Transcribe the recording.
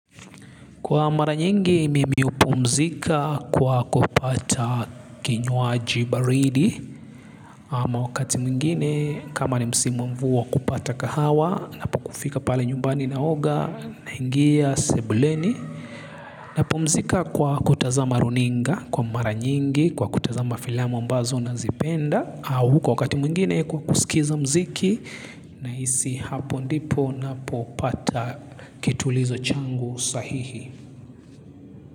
Kwa mara nyingi mimi hupumzika kwa kupata kinywaji baridi ama wakati mwingine kama ni msimu wa mvua kupata kahawa napo kufika pale nyumbani naoga naingia sebuleni napumzika kwa kutazama runinga kwa mara nyingi kwa kutazama filamu ambazo nazipenda au kwa wakati mwingine kwa kusikiza mziki nahisi hapo ndipo napopata kitulizo changu sahihi.